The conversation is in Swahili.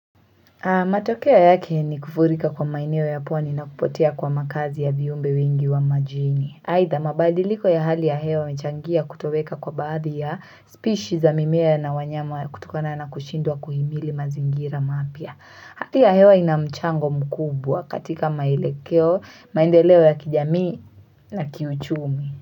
Matokea yake ni kufurika kwa maeneo ya pwani na kupotea kwa makazi ya viumbe wengi wa majini. Haitha mabadiliko ya hali ya hewa yanachangia kutoweka kwa baadhi ya species za mimea na wanyama kutukana na kushindwa kuhimili mazingira mapya. Hali ya hewa inamchango mkubwa katika maelekeo, maendeleo ya kijamii na kiuchumi.